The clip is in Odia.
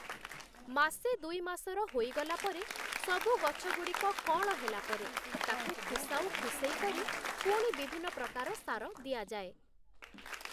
ମାସେ ଦୁଇ ମାସର ହୋଇଗଲା ପରେ, ସବୁ ଗଛଗୁଡ଼ିକ କଅଁଳ ହେଲା ପରେ, ତାକୁ ଖୁସାଉ ଖୁସେଇ କରି ପୁଣି ବିଭିନ୍ନ ପ୍ରକାର ସାର ଦିଆଯାଏ ।